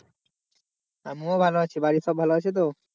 আমিও ভালো আছি বাড়ির সবাই ভালো আছে তো?